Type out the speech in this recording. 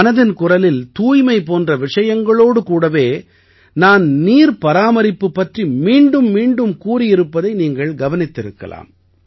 மனதின் குரலில் தூய்மை போன்ற விஷயங்களோடு கூடவே நான் நீர் பராமரிப்பு பற்றி மீண்டும் மீண்டும் கூறிவருவதை நீங்கள் கவனித்திருக்கலாம்